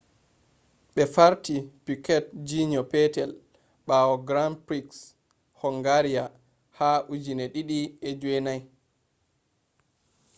ɓe farti piquet jr. peetel ɓaawo grand priks hungaria ha 2009